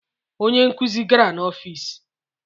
Onye nkuzi gara n'ọfịs